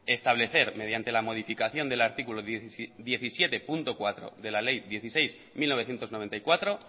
establecer mediante la modificación del artículo diecisiete punto cuatro de la ley dieciséis barra mil novecientos noventa y cuatro